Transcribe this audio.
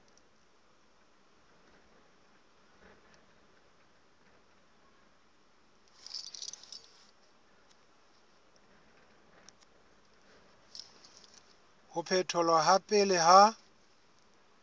ho phetholwa ha pele ha